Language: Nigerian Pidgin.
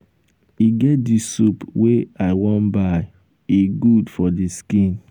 e get dis soap wey i wan um buy e good for um the skin.